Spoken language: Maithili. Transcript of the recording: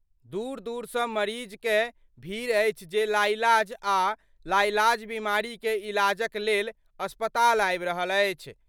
दूर-दूर स मरीज कए भीड़ अछि जे लाइलाज आ लाइलाज बीमारी कए इलाज क लेल अस्पताल आबि रहल अछि।